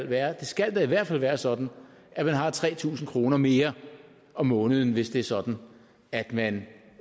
være det skal da i hvert fald være sådan at man har tre tusind kroner mere om måneden hvis det er sådan at man